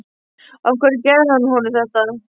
Af hverju gerði hann honum þetta?